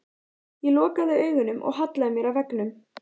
Ég lokaði augunum og hallaði mér að veggnum.